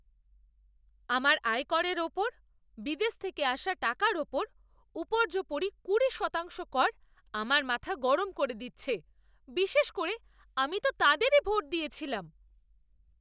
আমার আয়করের ওপর বিদেশ থেকে আসা টাকার ওপর উপর্যুপরি কুড়ি শতাংশ কর আমার মাথা গরম করে দিচ্ছে, বিশেষ করে আমি তো তাদেরই ভোট দিয়েছিলাম। গ্রাহক